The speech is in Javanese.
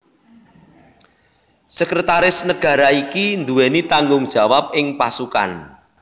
Sekretaris Negara iki nduweni tanggung jawab ing pasukan